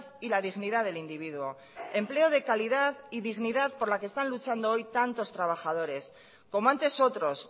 y la dignidad del individuo empleo de calidad y de dignidad por la que están luchando hoy tantos trabajadores como antes otros